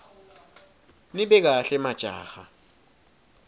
nibe kahle majaha